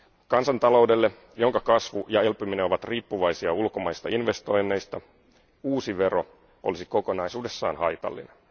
Kansantaloudelle, jonka kasvu ja elpyminen ovat riippuvaisia ulkomaisista investoinneista, uusi vero olisi kokonaisuudessaan haitallinen.